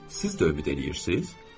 Siz də ümid eləyirsiz?